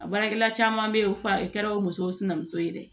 A baarakɛla caman bɛ ye f'a kɛla o musow sinankunso ye dɛ